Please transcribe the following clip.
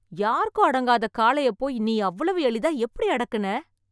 யாருக்கும் அடங்காத காளையப் போய் , நீ அவ்வளவு எளிதா எப்படி அடக்குன.